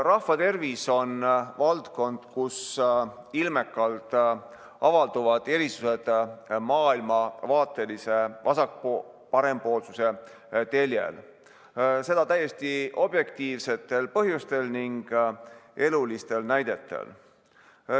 Rahvatervis on valdkond, kus ilmekalt avalduvad erisused maailmavaatelisel vasak-parempoolsuse teljel, seda täiesti objektiivsetel põhjustel ning eluliste näidete põhjal.